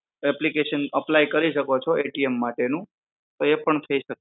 application apply કરી શકો છો માટે નું તો એ પણ થઇ